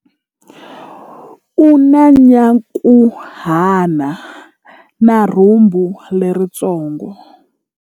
U na nyankhuhana na rhumbu leritsongo.